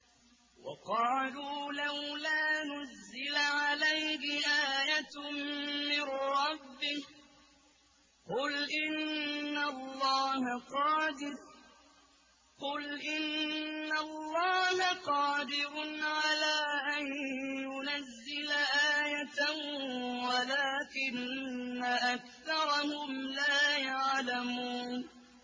وَقَالُوا لَوْلَا نُزِّلَ عَلَيْهِ آيَةٌ مِّن رَّبِّهِ ۚ قُلْ إِنَّ اللَّهَ قَادِرٌ عَلَىٰ أَن يُنَزِّلَ آيَةً وَلَٰكِنَّ أَكْثَرَهُمْ لَا يَعْلَمُونَ